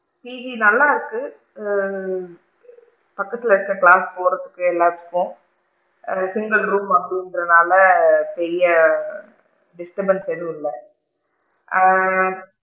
ஈ நல்லா இருக்கு. பக்கத்துல இங்க class போறதுக்கு எல்லாத்துக்கும் ஆ single room அப்படிங்கற நாள பெரிய disturbance எதும் இல்ல ஆ?